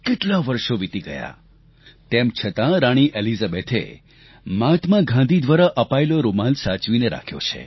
કેટલા વર્ષો વિતી ગયાં તેમ છતાં રાણી એલિઝાબેથે મહાત્મા ગાંધી દ્વારા અપાયેલો તે રૂમાલ સાચવીને રાખ્યો છે